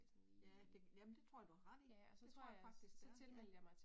Ja, ja det, jamen det tror jeg du har ret i. Det tror jeg faktisk det er ja